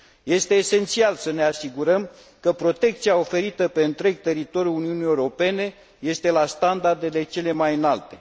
Este esențial să ne asigurăm că protecția oferită pe întreg teritoriul Uniunii Europene este la standardele cele mai înalte.